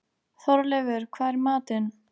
Þorleifur, hvað er í matinn?